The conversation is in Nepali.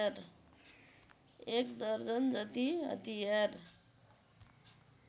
एक दर्जनजति हतियार